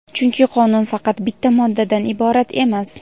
Chunki qonun faqat bitta moddadan iborat emas.